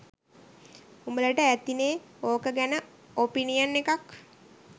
උඹලට ඇතිනේ ඕක ගැන "ඔපිනියන්" එකක්.